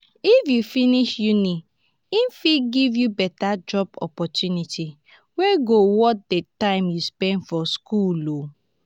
if u finish uni e fit give you beta job opportunity wey go worth di time u spend for school